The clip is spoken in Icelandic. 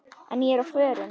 En ég er á förum.